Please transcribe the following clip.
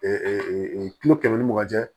kulo kɛmɛ ni mugan cɛ